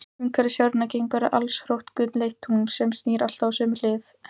Umhverfis jörðina gengur allstórt gulleitt tungl, sem snýr alltaf sömu hlið að henni.